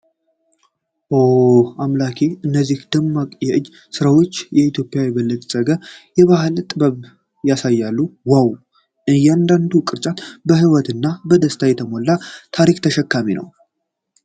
ኦ አምላኬ፣ እነዚህ ደማቅ የእጅ ሥራዎች የኢትዮጵያን የበለፀገ ባህልና ጥልቅ ጥበብ ያሳያሉ። ዋው! እያንዳንዱ ቅርጫት በህይወትና በደስታ የተሞላ ታሪክ ተሸካሚ ነው።